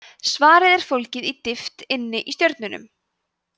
svarið er fólgið djúpt inni í stjörnunum